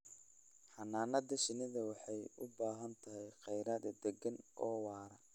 Xannaanada shinnidu waxay u baahan tahay kheyraad deegaan oo waara